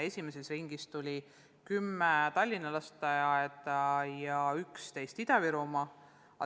Esimeses ringis tulid lisaõpetajad 10 Tallinna ja 11 Ida-Virumaa lasteaeda.